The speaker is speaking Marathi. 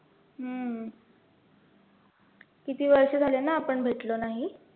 हम्म किती वर्ष झाले ना आपण भेटलो नाही.